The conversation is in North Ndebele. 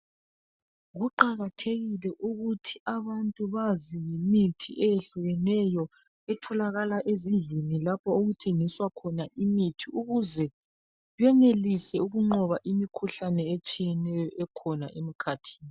Kuqakathekile ukuthi abantu bazi imithi eyehlukeneyo. Etholakala ezindlini lapho okuthengiswa khona imithi ukuze benelise ukunqoba imikhuhlane etshiyeneyo ekhona emkhathini.